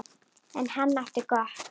En hann átti gott.